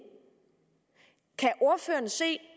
kan ordføreren se